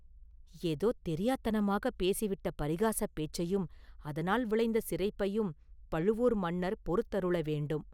“ஏதோ தெரியாத்தனமாகப் பேசிவிட்ட பரிகாசப் பேச்சையும், அதனால் விளைந்த சிரிப்பையும் பழுவூர் மன்னர் பொறுத்தருள வேண்டும்.